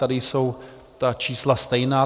Tady jsou ta čísla stejná.